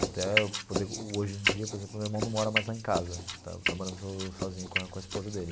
Até eu poder hoje em dia, por exemplo, o meu irmão não mora mais lá em casa, está está morando sozinho com a com a esposa dele.